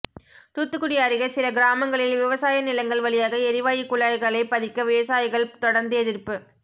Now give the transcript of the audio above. தூத்துக்குடி அருகே சில கிராமங்களில் விவசாய நிலங்கள் வழியாக எரிவாயு குழாய்களை பதிக்க விவசாயிகள் தொடா்ந்து எதிா்ப்பு